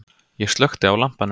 Ég slökkti á lampanum.